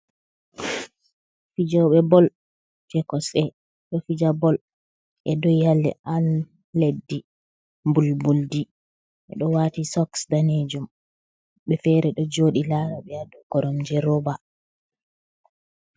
Fijoɓe bol je kosɗe do fija bol e'do ha leddi mbulbuldi e'do wati sos danejum himɓe fere do jodi laraɓe do koromje roɓa.